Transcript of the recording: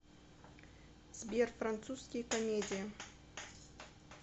сбер французские комедии